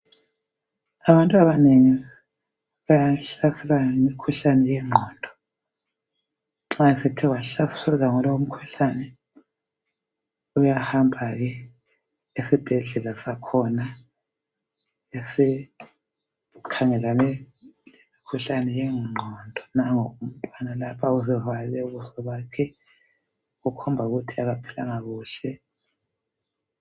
Abantwana bayahlaselwa yimikhuhlane yengqondo nxa sebethe bahlaselwa yilomkhuhlane bayahamba esibhedlela sakhona esikhangelana komkhuhlane wengqondo ,nango umntwana la uzivale ubuso bakhe okukhomba ukuthi akaphilanga kuhle.